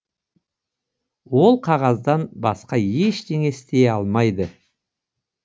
бұл қағаздан басқа ештеңе істей алмайды